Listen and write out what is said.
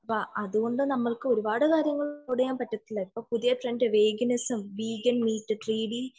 അതുകൊണ്ട് നമ്മക്ക് ഒരുപാട് കാര്യം അഫ്‌ഫോഡ് ചെയ്യാൻ പറ്റില്ല ഇപ്പോൾ പുതിയ ട്രെൻഡ്